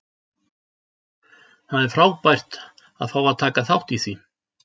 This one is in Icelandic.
Það er frábært að fá að taka þátt í því.